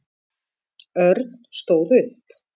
Örn stóð upp.